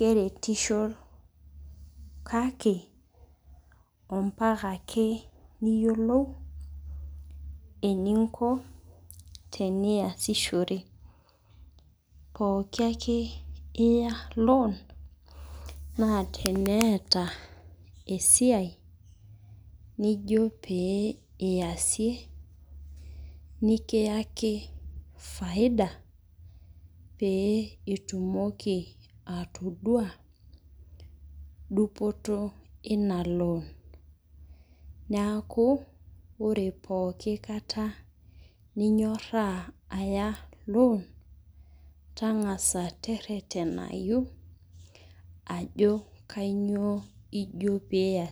naake eretisho ompaka ake niyiolou eninko teniasishore, pooki ake iya loan naa teneata esiai naijo pee iasie pee kiaki faida pee itumoki atodua dupoto ina loan, neaku ore pooki kata ninyoraa aya loan tang'asa teretenayu ajo kainyoo ijo peeiya.